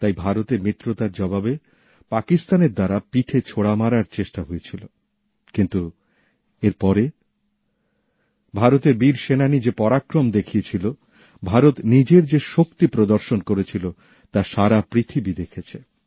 তাই ভারতের মিত্রতার জবাবে পাকিস্তান পিঠে ছোরা মারার চেষ্টা করেছিল কিন্তু এর পরে ভারতের বীর সৈন্যরা যে পরাক্রম দেখিয়েছিল ভারত নিজের যে শক্তি প্রদর্শন করেছিল তা সারা পৃথিবী দেখেছে